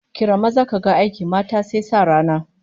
Kira maza kaga aiki, mata sai sa rana